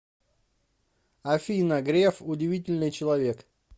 афина греф удивительный человек